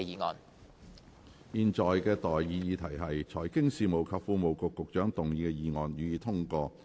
我現在向各位提出的待議議題是：財經事務及庫務局局長動議的議案，予以通過。